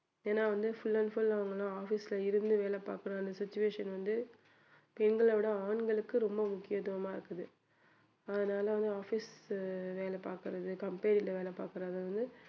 ஏன்னா வந்து full and full அவங்கல்லாம் office ல இருந்து வேலை பாக்குற அந்த situation வந்து பெண்களை விட ஆண்களுக்கு ரொம்ப முக்கியத்துவமா இருக்குது அதனால வந்து office வேலை பாக்குறது company வேலை பாக்குறது வந்து